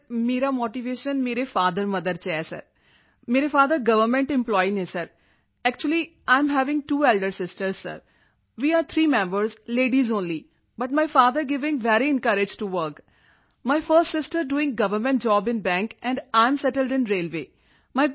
sir ਮੇਰਾ motivation ਮੇਰੇ father mother ਵਿੱਚ ਹੈ ਸਰ ਮੇਰੇ ਫਾਦਰ ਗਵਰਨਮੈਂਟ ਐਂਪਲਾਈ ਹਨ sir actually 9 am having two elder sisters sir we are three members ladies only but my father giving very encourage to work my first sister doing government job in bank and 9 am settled in railway